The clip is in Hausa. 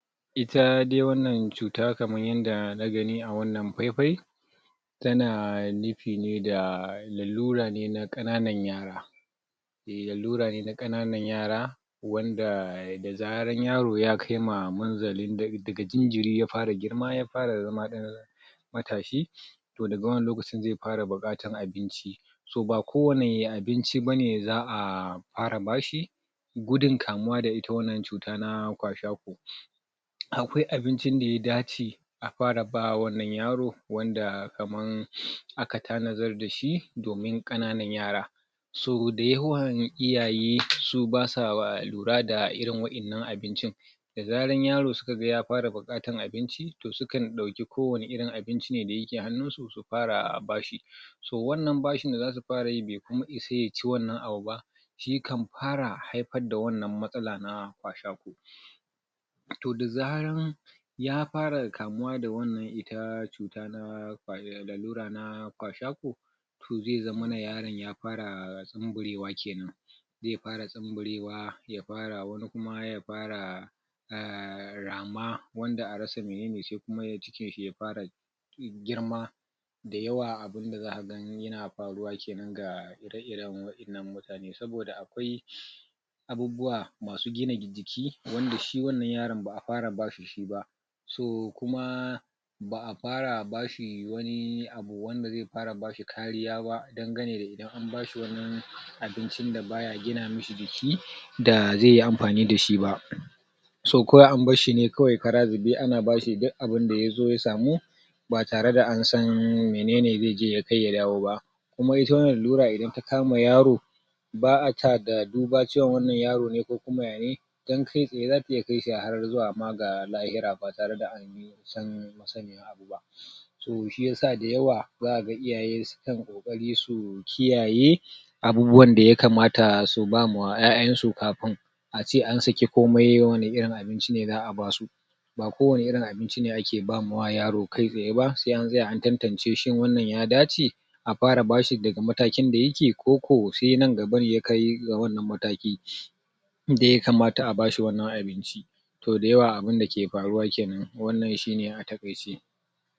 ita dai wannan cuta kaman yanda na gani a wannan fai fai tana nufi ne da lallura ne na kananan yara lallura ne na kananan yara wanda da zaran yaro ya kai manzalin daga jinjiri ya fara girma ya fara zama ɗan matashi toh daga wannan lokacin zai fara bukatan abinci ba kowani abinci bane za'a fara bashi gudun kamuwa da ita wannan cuta na kwashiorkor akwai abincin da ya dace a fara ba wannan yaro wanda kaman aka tanadar dashi domin kananan yara so dayawan iyaye su basa lura da irin wainan abincin da zaran yaro ya fara bukatan abinci to sukan dauki ko wani irin abinci ne da yake hannunsu su fara bashi toh wannan bashi da zasu fara yi bai kuma isa ya ci wannan abu ya kan fara haifar da wannnan matsala na kwashiorkor toh da zaran ya fara kamu da wannan ita cutan na lallura na kwashiorkor toh zai zammana yaron ya fara sumburewa kenan zai fara sumburewa yafara kuma ya fara um rama wanda a rasa menene shi kum cikin shi ya fara girma dayawa abun da zaka ga yana faruwa kenan ga ireiren wa'ennan mutane saboda akwai abubuwa masuugina jiki wanda shi wannan yaron ba'a fara ba shi ba so kuma ba'a fara bashi wani abu wanda zai fara bashi kariya ba dangane da anbashi wani abinci da baya gina mishi jiki da zaiyi amfani dashi ba so kawai an barshi ne ana bashi duk abun da yazo ya samu ba tare da an san menene zai je ya kai ya dawo ba kuma wannan lallura idan ta kama yaro ba'a duba ga cewa wannan yaro ne ko kuma yane dan kai tsaye zata iya kai shi zuwa ga lahira ba tare da an san sani abu ba so shiyasa dayawa zaka iyaye sukan kokari su kiyaye abubuwan da yakamata su ba ma 'ya'yan su kafun a ce an sae komai wani irin abinci ne za'a basu ba kowani irin abin aka ba wa yaro kai tsaye ba sai an tsaya an tantance shin wannan ya dace a bfara bashi daga matakin da yake koko sai nan gaba ne ya kai ga wannan mataki da yakamata a bashi wannan abinci toh dayawa abun dake faru kenan wannan shine a takaice